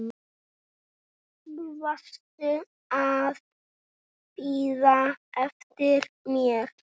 Varstu að bíða eftir mér?